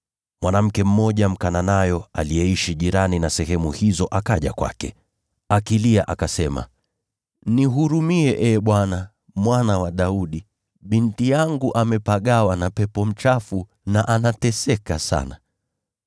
Mwanamke mmoja Mkanaani aliyeishi sehemu jirani na hizo akaja kwake akilia, akasema, “Nihurumie, Ee Bwana, Mwana wa Daudi! Binti yangu amepagawa na pepo mchafu, na anateseka sana.”